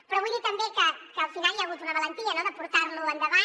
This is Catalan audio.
però vull dir també que al final hi ha hagut una valentia no de portar lo endavant